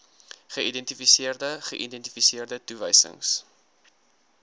geïdentifiseerde geïdentifiseerde toewysings